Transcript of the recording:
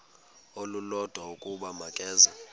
olulodwa ukuba makeze